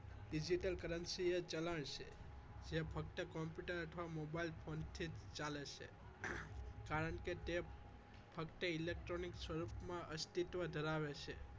Digital currency એ ચલણ છે તે ફક્ત computer અથવા mobile ફોનથી જ ચાલે છે કારણ કે તે ફક્ત electronic સ્વરૂપ માં અસ્તિત્વ ધરાવે છે